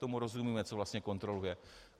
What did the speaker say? Tomu rozumíme, co vlastně kontroluje.